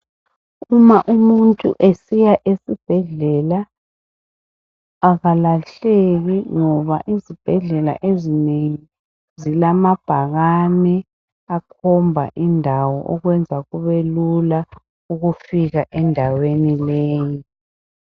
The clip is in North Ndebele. Uma umuntu esiya esibhedlela akalahleki ngoba izibhedlela ezinengi zilamabhakane akhomba indawo okwenza kube lula ukufika endaweni leyi.